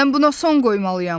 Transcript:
Mən buna son qoymalıyam.